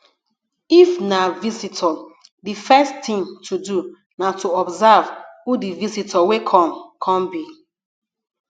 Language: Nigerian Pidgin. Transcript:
if na visitor di first thing to do na to observe who di visitor wey come come be